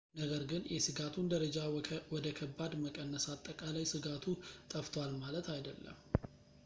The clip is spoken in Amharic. ነገር ግን የስጋቱን ደረጃ ወደ ከባድ መቀነስ አጠቃላይ ስጋቱ ጠፍቷል ማለት አይደለም